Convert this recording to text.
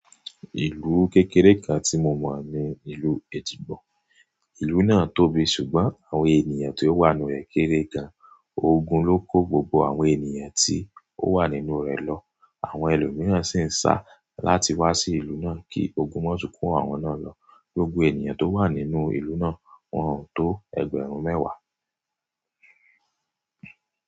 Ìlú kékeré kan tí mo mọ̀ ni ìlú Èjìgbò. Ìlú náà tóbi ṣùgbọ́n àwọn ènìyàn tó wà nínú rẹ̀ kéré gan. Ogun ló kó gbogbo àwọn ènìyàn tí ó wà nínú rẹ̀ lọ. Àwọn ẹlòmíràn sì ń sá láti wá sí ìlú náà kí ogun má tún kó àwọn náà lọ. Gbogbo ènìyàn tó wà nínú ìlú náà wọ́n tó ẹgbẹ̀rún mẹ́wàá.